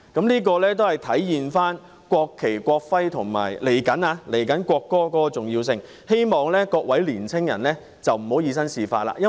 這體現了《國旗及國徽條例》及即將落實的國歌條例的重要性，希望各位年輕人不要以身試法。